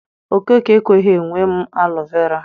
Okeke ekweghị enwe m alọ vera.